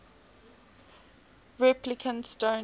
replicants don't